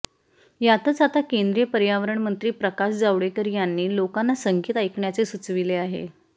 यातच आता केंद्रीय पर्यावरणमंत्री प्रकाश जावडेकर यांनी लोकांना संगीत ऐकण्याचे सुचविले आहे